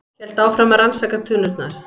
Hélt áfram að rannsaka tunnurnar.